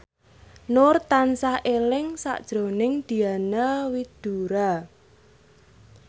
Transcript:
Nur tansah eling sakjroning Diana Widoera